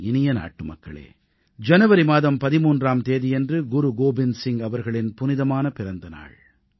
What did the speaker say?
என் இனிய நாட்டுமக்களே ஜனவரி மாதம் 13ஆம் தேதியன்று குரு கோவிந்த் சிங் அவர்களின் புனிதமான பிறந்த நாள்